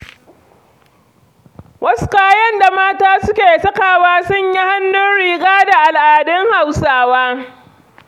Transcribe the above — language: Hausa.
Wasu kayan da mata suke sakawa sun yi hannun riga da al'adun Hausawa.